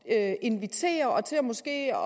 at invitere og måske